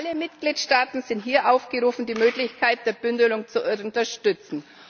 Alle Mitgliedstaaten sind hier aufgerufen, die Möglichkeit der Bündelung zu unterstützen.